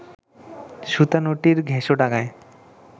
সুতানুটির ঘেষোডাঙায়